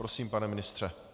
Prosím, pane ministře.